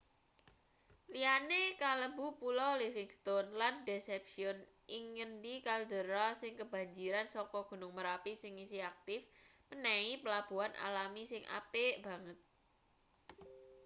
liyane kalebu pulo livingstone lan deception ing ngendi kaldera sing kebanjiran saka gunung merapi sing isih aktif menehi pelabuhan alami sing apik banget